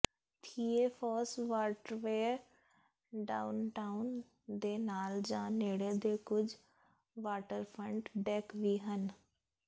ਥੀਏ Foss waterway downtown ਦੇ ਨਾਲ ਜਾਂ ਨੇੜੇ ਦੇ ਕੁਝ ਵਾਟਰਫਰੰਟ ਡੈੱਕ ਵੀ ਹਨ